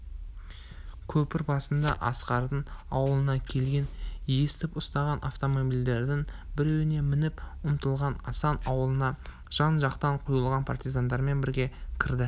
көпір басында асқардың ауылына келгенін естіп ұсталған автомобильдердің біреуіне мініп ұмтылған асан аулына жан-жақтан құйылған партизандармен бірге кірді